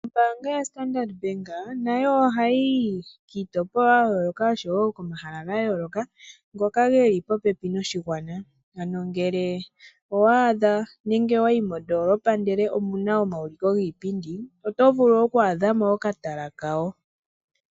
Ombaanga yo Standard bank nayo oha yi yi kiitopolwa ya yooloka, osho wo komahala ga yooloka, ngoka geli popepi noshigwana , ano ngele owa adha nenge owa yi moondoolopa ndele omu na omauliko giipindi, oto vulu oku adha mo okatala kawo.